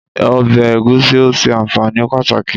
Ọbẹ̀ Egusi o sẹ anfaani pataki.